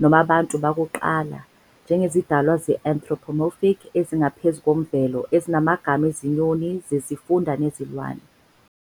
noma "Abantu Bakuqala" njengezidalwa ze-anthropomorphic ezingaphezu kwemvelo ezinamagama ezinyoni zesifunda nezilwane.